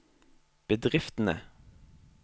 bedriftene